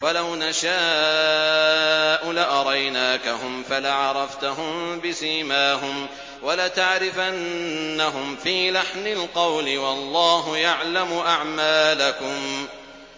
وَلَوْ نَشَاءُ لَأَرَيْنَاكَهُمْ فَلَعَرَفْتَهُم بِسِيمَاهُمْ ۚ وَلَتَعْرِفَنَّهُمْ فِي لَحْنِ الْقَوْلِ ۚ وَاللَّهُ يَعْلَمُ أَعْمَالَكُمْ